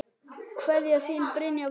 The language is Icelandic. Kveðja, þín Brynja Vattar.